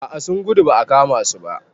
A a sun gudu ba a kama su ba.